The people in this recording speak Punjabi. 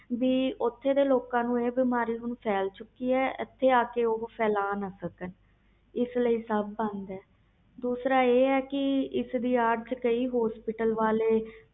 ਕਿ ਓਥੋਂ ਦੇ ਲੋਕਾਂ ਨੂੰ ਬਿਮਾਰੀ ਫੇਲ ਚੁਕੀ ਆ ਹੁਣ ਉਹ ਹਠੇ ਆ ਕੇ ਬਿਮਾਰੀ ਨਾ ਫੈਲਾ ਸਕਣ ਇਸ ਲਈ ਸਬ ਬੰਦ ਆ ਦੂਸਰੀ ਆਹ ਕਿ ਹਸਪਤਾਲ ਵਾਲੇ ਇਹਦੀ ਅਡ